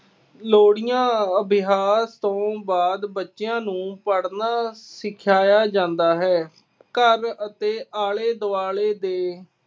ਲੋਰੀਆਂ ਅਭਿਆਸ ਤੋਂ ਬਾਅਦ ਬੱਚਿਆ ਨੂੰ ਪੜ੍ਹਨਾ ਸਿਖਾਇਆ ਜਾਂਦਾ ਹੈ। ਘਰ ਅਤੇ ਆਲੇ-ਦੁਆਲੇ ਦੇ